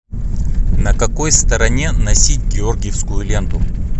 на какой стороне носить георгиевскую ленту